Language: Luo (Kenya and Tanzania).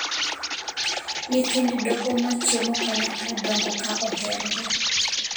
Nyithind doho machiemo kanyakla dongo ka oherore.